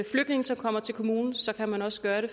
flygtninge som kommer til kommunen så kan man også gøre det